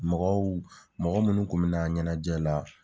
Mɔgɔw mɔgɔ minnu kun bɛ na ɲɛnajɛ la.